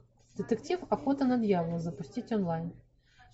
детектив охота на дьявола запустить онлайн